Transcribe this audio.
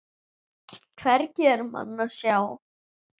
Hvergi er mann að sjá.